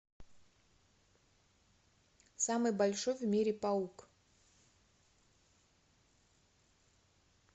самый большой в мире паук